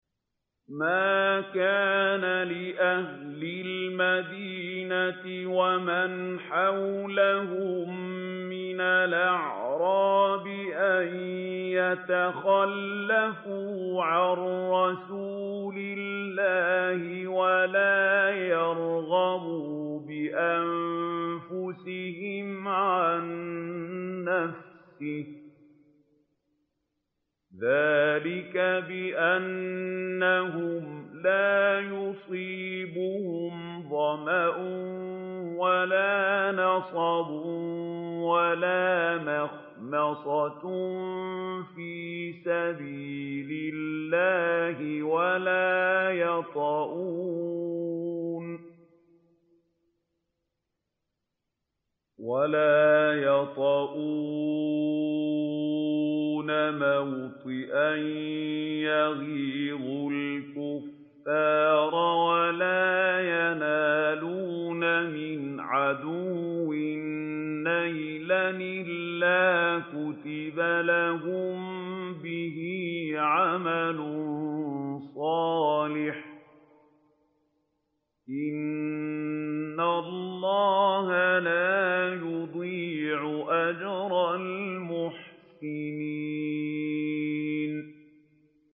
مَا كَانَ لِأَهْلِ الْمَدِينَةِ وَمَنْ حَوْلَهُم مِّنَ الْأَعْرَابِ أَن يَتَخَلَّفُوا عَن رَّسُولِ اللَّهِ وَلَا يَرْغَبُوا بِأَنفُسِهِمْ عَن نَّفْسِهِ ۚ ذَٰلِكَ بِأَنَّهُمْ لَا يُصِيبُهُمْ ظَمَأٌ وَلَا نَصَبٌ وَلَا مَخْمَصَةٌ فِي سَبِيلِ اللَّهِ وَلَا يَطَئُونَ مَوْطِئًا يَغِيظُ الْكُفَّارَ وَلَا يَنَالُونَ مِنْ عَدُوٍّ نَّيْلًا إِلَّا كُتِبَ لَهُم بِهِ عَمَلٌ صَالِحٌ ۚ إِنَّ اللَّهَ لَا يُضِيعُ أَجْرَ الْمُحْسِنِينَ